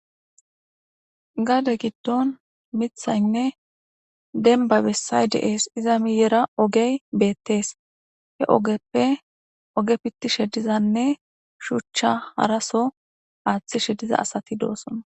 Gade giddon mithaynne denba bessay deees iza miyera ogey beettees he ogeppe oge pitti shedizanne shuchcha haraso aaththi shediza asati doosona.